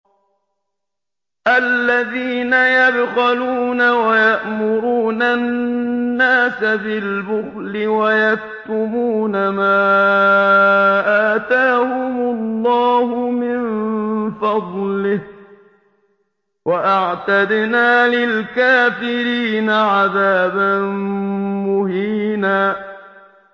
الَّذِينَ يَبْخَلُونَ وَيَأْمُرُونَ النَّاسَ بِالْبُخْلِ وَيَكْتُمُونَ مَا آتَاهُمُ اللَّهُ مِن فَضْلِهِ ۗ وَأَعْتَدْنَا لِلْكَافِرِينَ عَذَابًا مُّهِينًا